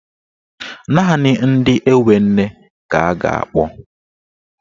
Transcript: Naanị ndị enwe nne ka a ga-akpọ.